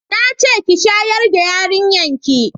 na ce ki shayar da yarinyar ki!